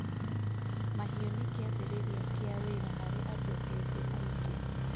Mahiũ nĩ kĩambĩrĩria kĩa wĩra harĩ andũ ethĩ aingĩ.